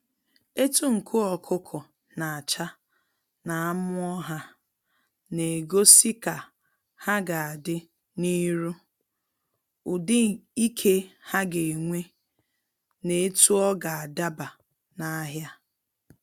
Etu nku ọkụkọ na acha na amụọ ha, na egosi ka ha ga adị n'iru, ụdị ike ha ga enwe na etu ọga adaba n'ahia.